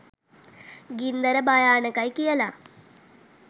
ගින්දර භයානකයි කියලා